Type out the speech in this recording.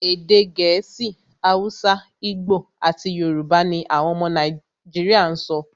Èdè Gẹ̀ẹ́sì, Hausa, Igbo, àti Yorùbá ní àwọn ọmọ Nàìjíríà sọ.